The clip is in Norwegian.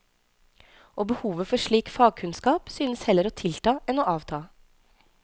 Og behovet for slik fagkunnskap synes heller å tilta enn å avta.